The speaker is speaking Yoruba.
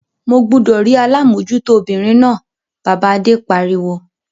Mo gbúdọ̀ rí alámòtújó obìnrin náà! Bàbá Adé pariwo.